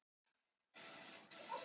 Unga kennslukonan kinkaði kolli.